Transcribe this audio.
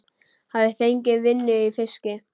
Hafi fengið vinnu í fiski.